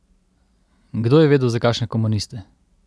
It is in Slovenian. Kdo je vedel za kakšne komuniste!